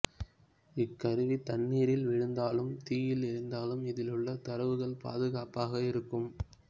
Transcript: இக்கருவி தண்ணீரில் விழுந்தாலும் தீயில் எரிந்தாலும் இதில் உள்ள தரவுகள் பாதுகாப்பாக இருக்கும்